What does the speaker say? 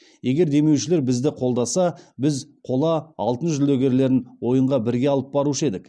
егер демеушілер бізді қолдаса біз қола алтын жүлдегерлерін ойынға бірге алып барушы едік